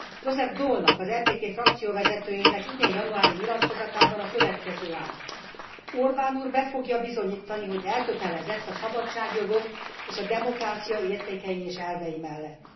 Joseph Daulnak, az EPP frakcióvezetőjének idén januári nyilatkozatában a következő áll Orbán úr be fogja bizonyítani, hogy elkötelezett a szabadságjogok és a demokrácia értékei és elvei mellett.